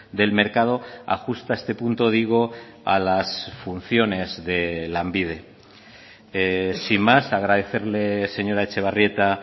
del mercado ajusta este punto digo a las funciones de lanbide sin más agradecerle señora etxebarrieta